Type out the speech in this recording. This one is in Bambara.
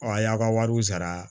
Ɔ a y'a ka wariw sara